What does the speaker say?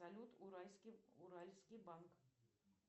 салют уральский банк